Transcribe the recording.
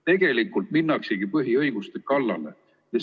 Tegelikult minnaksegi põhiõiguste kallale.